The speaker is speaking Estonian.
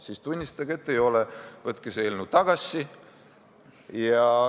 Siis tunnistage, et ei ole, võtke see eelnõu tagasi.